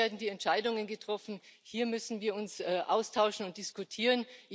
Hier werden die Entscheidungen getroffen, hier müssen wir uns austauschen und diskutieren.